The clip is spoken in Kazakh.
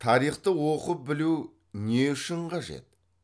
тарихты оқып білу не үшін қажет